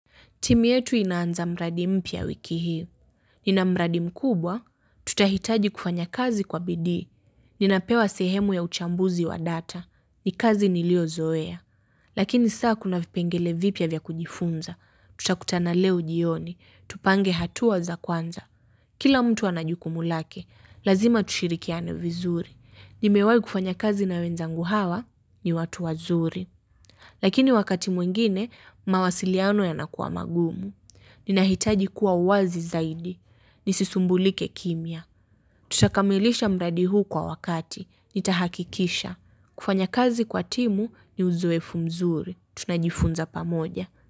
Timu yetu inaanza mradi m pia wiki hii. Nina mradi m kubwa, tutahitaji kufanya kazi kwa bidii. Ninapewa sehemu ya uchambuzi wa data. Nikazi nilio zoea. Lakini saa kuna vipengele vipia vya kujifunza. Tutakutana leo jioni. Tupange hatuaza kwanza. Kila mtu anajukumulake. Lazima tushirikiane vizuri. Nimewai kufanya kazi na wenzangu hawa ni watu wazuri. Lakini wakati mwingine, mawasiliano yanakuwa magumu. Ninahitaji kuwa uwazi zaidi. Nisisumbulike kimia. Tutakamilisha mradi huu kwa wakati. Nitahakikisha. Kufanya kazi kwa timu ni uzoefu mzuri. Tunajifunza pamoja.